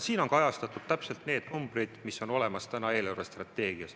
Siin on kirjas täpselt need numbrid, mis on olemas eelarvestrateegias.